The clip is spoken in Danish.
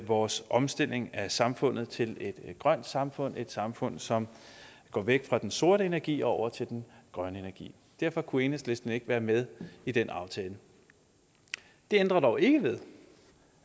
vores omstilling af samfundet til et grønt samfund et samfund som går væk fra den sorte energi og over til den grønne energi derfor kunne enhedslisten ikke være med i den aftale det ændrer dog ikke ved